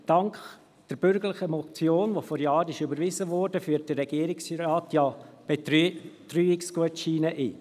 Dank der bürgerlichen Motion , die vor Jahren überwiesen wurde, führt der Regierungsrat ja Betreuungsgutscheine ein.